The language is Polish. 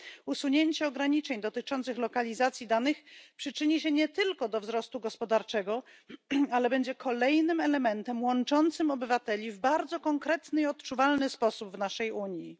Usunięcie ograniczeń dotyczących lokalizacji danych przyczyni się nie tylko do wzrostu gospodarczego, ale będzie kolejnym elementem łączącym obywateli w bardzo konkretny i odczuwalny sposób w obrębie naszej Unii.